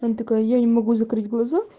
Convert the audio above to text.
такая я не могу закрыть глаза